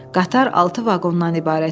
Qatar altı vaqondan ibarət idi.